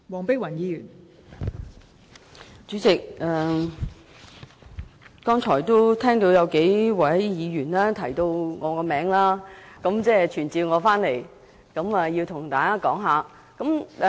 代理主席，我剛才聽到數名議員提到我的名字，好像傳召我回來向大家發言。